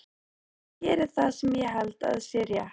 Ég geri það sem ég held að sé rétt.